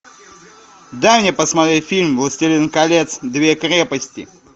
дай мне посмотреть фильм властелин колец две крепости